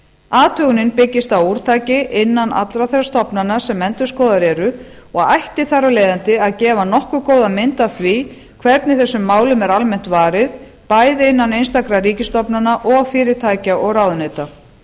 athugunin byggist á úrtaki innan allra þeirra stofnana sem endurskoðaðar eru og ætti þar af leiðandi að gefa nokkuð góða mynd af því hvernig þessum málum er almennt varið bæði innan einstakra ríkisstofnana og fyrirtækja og ráðuneyta